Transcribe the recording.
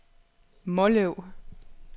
Måløv